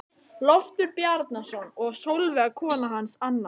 Loftur Bjarnason og Sólveig kona hans annan.